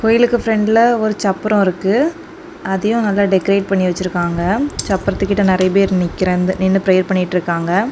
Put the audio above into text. கோயிலுக்கு பிரண்ட்ல ஒரு சப்பரம் இருக்கு அதையும் நல்லா டெகரேட் பண்ணி வச்சிருக்காங்க சப்ரத்துக்கிட்ட நிறைய பேர் நிக்கிறந்து நின்னு ப்ரேயர் பண்ணிட்டு இருக்காங்க.